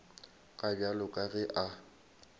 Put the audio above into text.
ka bjale ka ge a